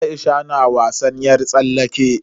Aisha na wasan yar tsallake.